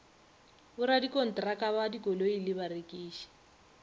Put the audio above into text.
borakontraka ba dikoloi le barekiši